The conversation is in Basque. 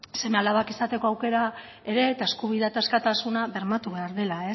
seme alabak izateko aukera ere eta eskubidea eta askatasuna bermatu behar dela